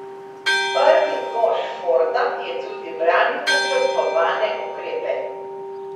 Prvi mož Forda je tudi branil načrtovane ukrepe.